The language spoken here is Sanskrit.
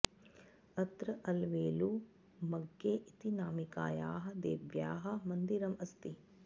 अत्र अलवेलु मङ्ग्गै इति नामिकायाः देव्याः मन्दिरम् अस्ति